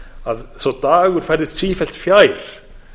að sá dagur færðist sífellt fjær